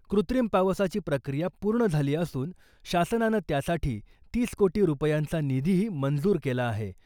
कृत्रिम पावसाची प्रक्रिया पूर्ण झाली असून , शासनानं त्यासाठी तीस कोटी रुपयांचा निधीही मंजूर केला आहे.